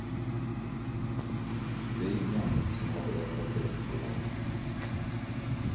Det är ingen som har berättat det för mig.